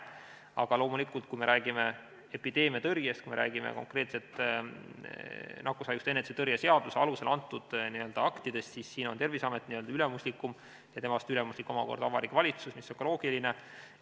Aga loomulikult, kui me räägime epideemiatõrjest, kui me räägime konkreetsetest nakkushaiguste ennetamise ja tõrje seaduse alusel antud aktidest, siis siin on Terviseamet ülemuslikum ja temast omakorda on ülemuslikum Vabariigi Valitsus, mis on ka loogiline.